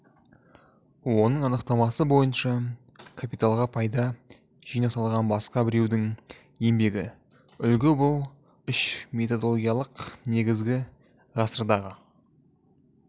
оның анықтамасы бойынша капиталға пайда жинақталған басқа біреудің еңбегі үлгі бұл үш методологиялық негізі ғасырдағы